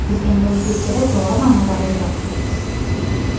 Biz endi o‘zbekchada, to‘g‘ri ma’noda ‘g‘iybat’ deymiz.